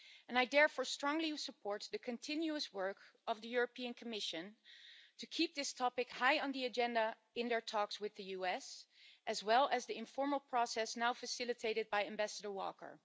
I therefore strongly support the continuous work of the European Commission to keep this topic high on the agenda in their talks with the US, as well as the informal process now facilitated by Ambassador Walker.